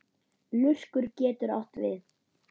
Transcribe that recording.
Lurkur getur átt við